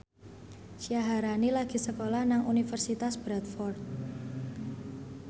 Syaharani lagi sekolah nang Universitas Bradford